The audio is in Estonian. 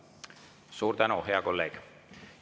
Suur tänu, hea kolleeg!